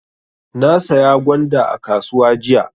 Na saya gwanda a kasuwa jiya.